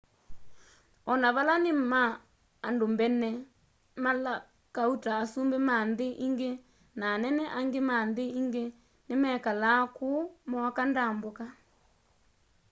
ona vala ni ma andũ mbene mala kauta asũmbĩ ma nthi ingĩ na anene angĩ ma nthi ingĩ nimekalaa kuũ mooka ndambũka